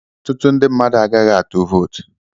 Ọtụtụ ndị mmadụ agaghị atụ vootu.